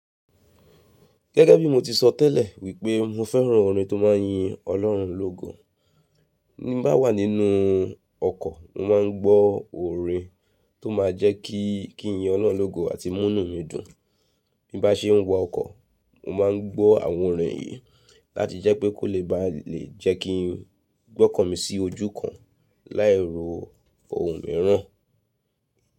Gẹ́gẹ́ bí mo ti sọ tẹ́lẹ̀ wípé mo fẹ́ràn orin tó máa ń yin Ọlọ́run lógo. Bí n bá wà nínú ọkọ̀ mo máa ń gbọ́ orin tó máa jẹ́ kí kí ń yin Ọlọ́run lógo àti mú nù mi dùn. Bí bá ṣe ń wa ọkọ̀ mo máa ń gbọ́ àwọn orin yìí láti jẹ́ pé kó lè ba lè jẹ́ kí n gbọ́kàn mí sí ojú kan láì ro ohun mìíràn.